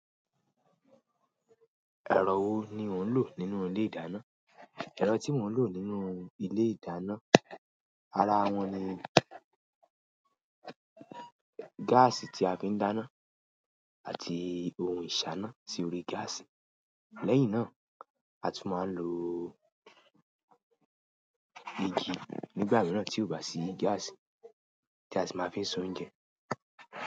Ẹ̀rọ wo ni ò ń lò nínú ilé ìdáná? Ẹ̀rọ tí mò ń lò nínú ilé ìdáná, ara wọn ni gáàsì tí a fi ń dáná àti ohun ìṣáná sí orí gáàsì. Lẹ́yìn náà, a tún máa ń lo. Igi nígbà mìíràn tí ó bá sí gáàsì tí a sì máa fi ń soúnjẹ.